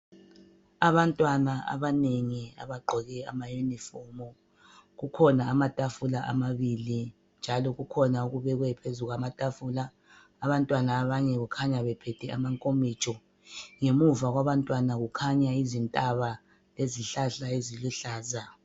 Abantwana abanengi abagqoke amayunifomu, kukhona amatafula amabili njalo kukhona okubekwe phezu kwamatafula. Abantwana abanye kukhanya bephethe amankomitsho ngemuva kwabantwana kukhanya izintaba lezihlahla eziluhlaza.